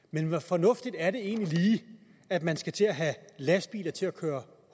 men hvor fornuftigt er det egentlig lige at man skal til at have lastbiler til at køre